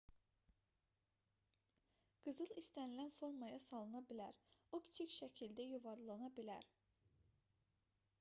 qızıl istənilən formaya salına bilər o kiçik şəkildə yuvarlana bilər